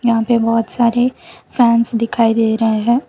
यहां पे बहोत सारे फैंस दिखाई दे रहे है।